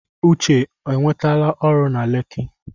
Uche enwetala ọrụ na Leki?